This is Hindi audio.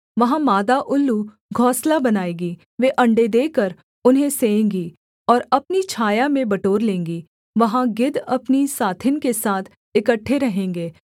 वहाँ मादा उल्लू घोंसला बनाएगी वे अण्डे देकर उन्हें सेएँगी और अपनी छाया में बटोर लेंगी वहाँ गिद्ध अपनी साथिन के साथ इकट्ठे रहेंगे